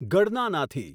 ગડનાનાથી